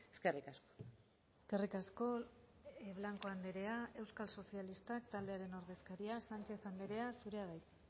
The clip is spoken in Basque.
eskerrik asko eskerrik asko blanco andrea euskal sozialistak taldearen ordezkaria sánchez andrea zurea da hitza